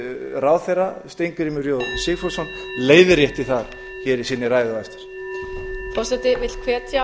ráðherra steingrímur j sigfússon leiðrétti það í sinni ræðu á eftir